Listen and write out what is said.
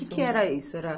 O que era isso? Era